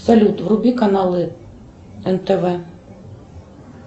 салют вруби каналы нтв